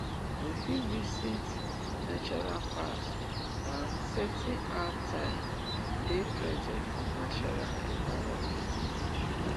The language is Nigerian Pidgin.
we fit visit natural packs and setting out time dey present for natural environment